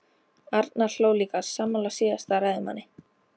Arnar hló líka, sammála síðasta ræðumanni.